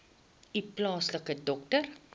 u plaaslike dokter